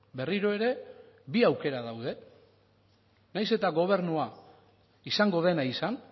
berriro ere bi aukera daude nahiz eta gobernua izango dena izan